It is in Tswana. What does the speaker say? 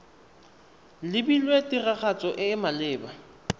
lebilwe tiragatso e e maleba